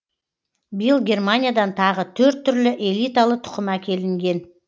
биыл германиядан тағы төрт түрлі элиталы тұқым әкелінген